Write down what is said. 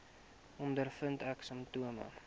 ondervind ek simptome